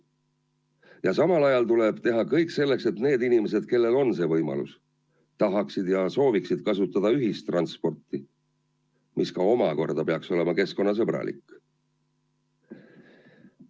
Ja samal ajal tuleb teha kõik selleks, et need inimesed, kellel see võimalus on, sooviksid kasutada ühistransporti, mis omakorda peaks olema keskkonnasõbralik.